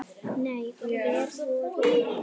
Nei, hver voru þau?